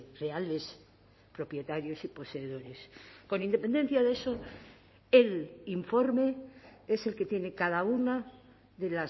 reales propietarios y poseedores con independencia de eso el informe es el que tiene cada una de